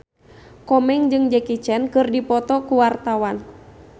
Komeng jeung Jackie Chan keur dipoto ku wartawan